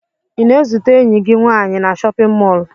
Ị na-ezute enyi gị nwaanyị na chọpịn mọọlụ?